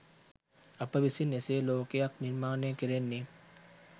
අප විසින් එසේ ලෝකයක් නිර්මාණය කෙරෙන්නේ